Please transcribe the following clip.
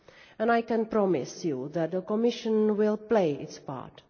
And I can promise you that the Commission will play its part.